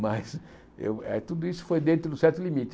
Mas eu eh tudo isso foi dentro de um certo limite.